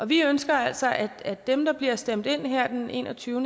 vi ønsker altså at at dem der bliver stemt ind her den 21